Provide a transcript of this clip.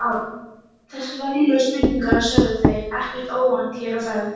Þessar venjulegu spurningar sögðu þeir, ekkert óvænt hér á ferð